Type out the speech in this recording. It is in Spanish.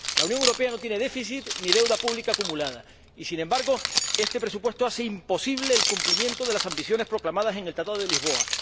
La Unión Europea no tiene déficit ni deuda pública acumulada y, sin embargo, este presupuesto hace imposible el cumplimiento de las ambiciones proclamadas en el Tratado de Lisboa.